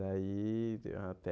Daí deu até...